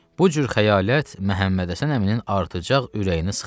Bu cür xəyalat Məhəmməd Həsən əminin artacaq ürəyini sıxırdı.